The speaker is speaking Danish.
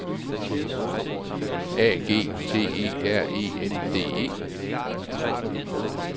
A G T E R E N D E